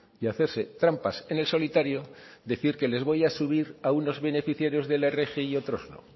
y hacerse trampas en el solitario decir que les voy a subir a unos beneficiarios de la rgi y a otros no